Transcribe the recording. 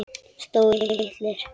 Stórir, litlir.